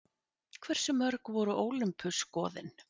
Hversu mörg voru Ólympusgoðin?